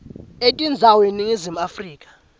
etindzawo eningizimu afrika